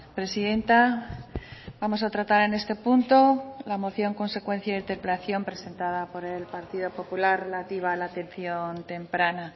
presidenta vamos a tratar en este punto la moción consecuencia de la interpelación presentada por el partido popular relativa a la atención temprana